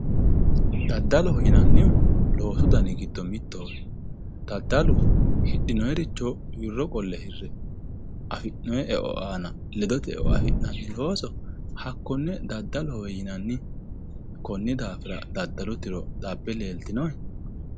Daddaloho yinannihu loosu dani giddo mittoho, daddalu hidhinonniricho wirro qolle hire affi'nanni eo aana ledote eo affi'nanni looso hakkone daddalohowe yinanni. koni daafira daddalu tiro xabbe leelitinohe.